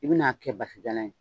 I bi na kɛ basijalan ye